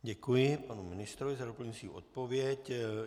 Děkuji panu ministrovi za doplňující odpověď.